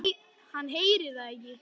Hann heyrir það ekki.